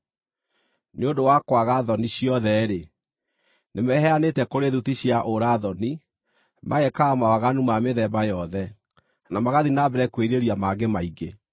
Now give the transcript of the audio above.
Nĩ ũndũ wa kwaga thoni ciothe-rĩ, nĩmeheanĩte kũrĩ thuti cia ũũra-thoni magekaga mawaganu ma mĩthemba yothe, na magathiĩ na mbere kwĩrirĩria mangĩ maingĩ.